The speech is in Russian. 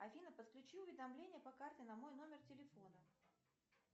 афина подключи уведомление по карте на мой номер телефона